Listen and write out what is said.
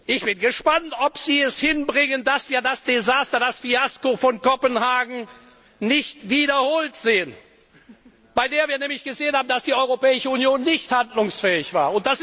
Ich bin gespannt, ob Sie es hinbringen, dass sich das Desaster, das Fiasko von Kopenhagen nicht wiederholt, bei dem wir nämlich gesehen haben, dass die Europäische Union nicht handlungsfähig war.